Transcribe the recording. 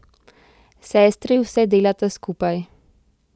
Sestri vse delata skupaj.